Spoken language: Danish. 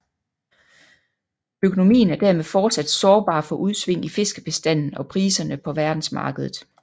Økonomien er dermed fortsat sårbar for udsving i fiskebestanden og priserne på verdensmarkedet